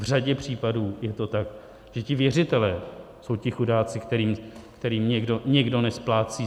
V řadě případů je to tak, že ti věřitelé jsou ti chudáci, kterým někdo nesplácí.